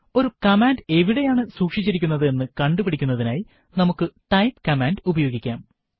ഒരു കമാൻഡ് എവിടെയാണ് സുക്ഷിച്ചിരിക്കുന്നത് എന്ന് കണ്ടു പിടിക്കുന്നതിനായി നമുക്ക് ടൈപ്പ് കമാൻഡ് ഉപയോഗിക്കാം